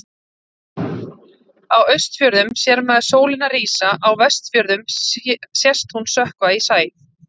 Á Austfjörðum sér maður sólina rísa, á Vestfjörðum sést hún sökkva í sæ.